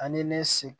Ani ne se